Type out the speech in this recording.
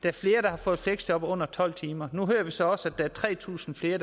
er flere der har fået fleksjob på under tolv timer nu hører vi så også der er tre tusind flere